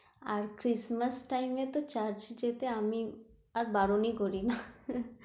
আর christmass টাইমে তো চার্চে যেতে আমি আর বারনই করি না